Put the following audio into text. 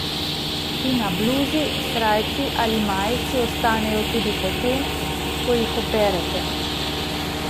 Ti na bluzi, srajci ali majici ostanejo tudi potem, ko jih operete.